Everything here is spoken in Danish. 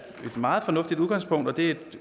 meget fornuftigt udgangspunkt og det er et